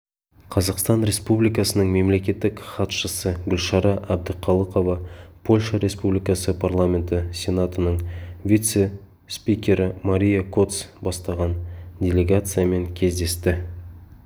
қазақстан республикасының мемлекеттік хатшысы гүлшара әбдіқалықова польша республикасы парламенті сенатының вице-спикері мария коц бастаған делегациямен кездесті